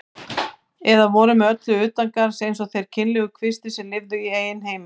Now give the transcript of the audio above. Aftur á móti þrífst verkalýðurinn fyrst þegar honum hefur tekist að losa sig við borgarastéttina.